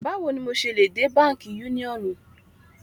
Báwò ní mọ ṣé lè dẹ̀ Bankí Yúniọ́nì?